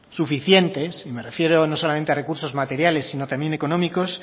suficientes me refiero no solamente a recursos materiales sino también económicos